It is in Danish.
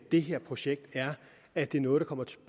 det her projekt er at det er noget der kommer